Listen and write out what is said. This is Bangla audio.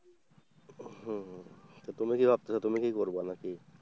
হম তুমি কি ভাবছো তুমি কি করবা নাকি?